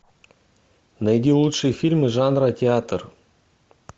найди лучшие фильмы жанра театр